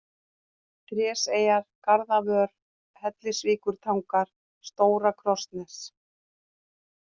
Tréseyjar, Garðavör, Hellisvíkurtangar, Stóra-Krossnes